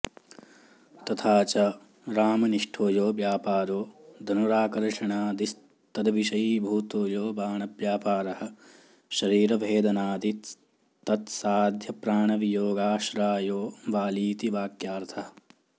तथा च रामनिष्ठो यो व्यापारो धनुराकर्षणादिस्तद्विषयीभूतो यो बाणव्यापारः शरीरभेदनादिस्तत्साध्यप्राणवियोगाश्रायो वालीति वाक्यार्थः